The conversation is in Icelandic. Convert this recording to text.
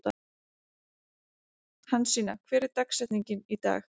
Hansína, hver er dagsetningin í dag?